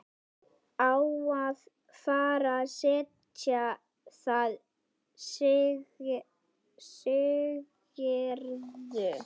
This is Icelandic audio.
Á að fara að selja það, segirðu?